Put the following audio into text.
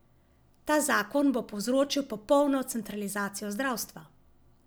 Ta zakon bo povzročil popolno centralizacijo zdravstva.